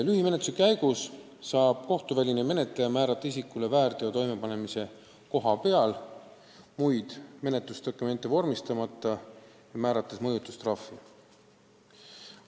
Lühimenetluse käigus saab kohtuväline menetleja määrata isikule väärteo toimepanemise kohas muid menetlusdokumente vormistamata mõjutustrahvi.